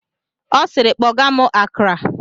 Ọ siiri, kpọgaa m Akra!